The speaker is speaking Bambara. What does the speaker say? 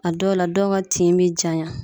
A dɔw la dɔw ga tin be janya